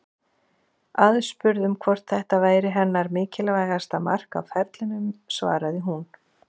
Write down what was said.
Aðspurð um hvort þetta væri hennar mikilvægasta mark á ferlinum svaraði hún: